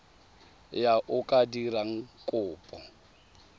yo o ka dirang kopo